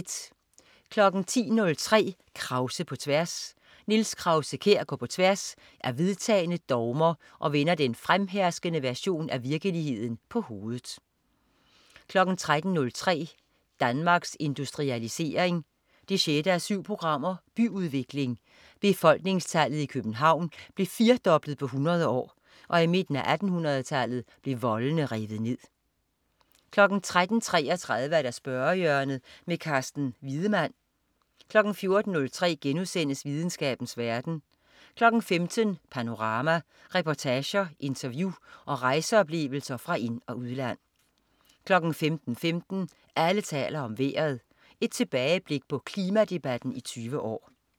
10.03 Krause på tværs. Niels Krause-Kjær går på tværs af vedtagne dogmer og vender den fremherskende version af virkeligheden på hovedet 13.03 Danmarks Industrialisering 6:7. Byudvikling. Befolkningstallet i København blev firdoblet på 100 år, og i midten af 1800-tallet blev voldene revet ned 13.33 Spørgehjørnet. Carsten Wiedemann 14.03 Videnskabens verden* 15.00 Panorama. Reportager, interview og rejseoplevelser fra ind- og udland 15.15 Alle taler om vejret. Et tilbageblik på klimadebatten i 20 år